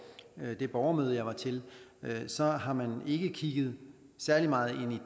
det borgermøde jeg var til så har man ikke kigget særlig meget